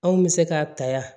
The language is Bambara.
Anw bɛ se ka ta yan